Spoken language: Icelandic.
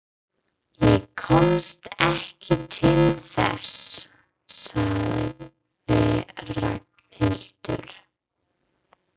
Ég komst ekki til þess sagði Ragnhildur.